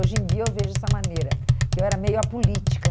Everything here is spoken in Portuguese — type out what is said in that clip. Hoje em dia eu vejo dessa maneira, que eu era meio apolítica.